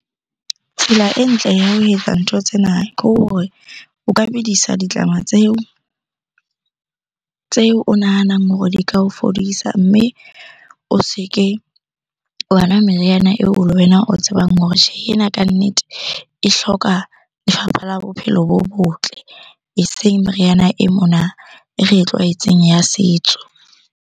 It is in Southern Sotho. Tsela e ntle ya ho etsa ntho tsena ke hore o ka bedisa ditlama tseo o nahanang hore di ka o fodisa. Mme o se ke wa nwa meriana eo le wena o tsebang hore tjhehe, ena kannete e hloka lefapha la bophelo bo botle. Eseng meriana e mona e re e tlwaetseng ya setso.